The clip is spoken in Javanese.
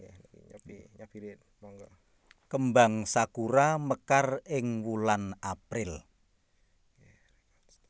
Kembang sakura mekar ing wulan April